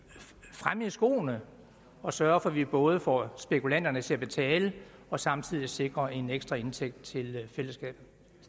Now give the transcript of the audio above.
fremme i skoene og sørge for at vi både får spekulanterne til at betale og samtidig sikrer en ekstra indtægt til fællesskabet